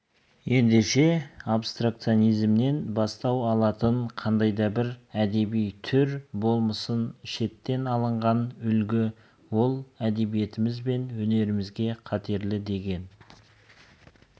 ендеше абстракционизмнен бастау алатын қандайда бір әдеби түр болмасын шеттен алынған үлгі ол әдебиетіміз бен өнерімізге қатерлі деген